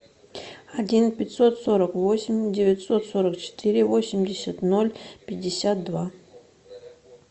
один пятьсот сорок восемь девятьсот сорок четыре восемьдесят ноль пятьдесят два